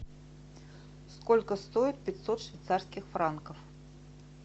сколько стоит пятьсот швейцарских франков